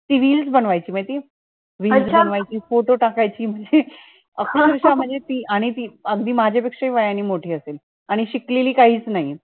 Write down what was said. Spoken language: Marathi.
ती reels बनवायची ना ती reels बनवायची photo टाकायची, खूप दिवसा मधे आणि ती अगधी माझ्या पेक्षा हि वयाने मोठी असेल आणि शिकलेली काहीच नाही